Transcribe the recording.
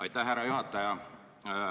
Aitäh, härra juhataja!